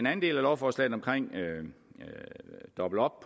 af lovforslaget om at doble op